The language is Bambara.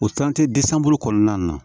O bolo kɔnɔna na